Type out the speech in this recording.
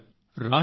Beti Bachao